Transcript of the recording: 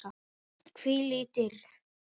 Hvílík dýrð.